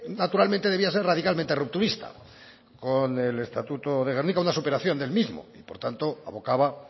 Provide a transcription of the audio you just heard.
naturalmente debía ser radicalmente rupturista con el estatuto de gernika una superación del mismo y por tanto abocaba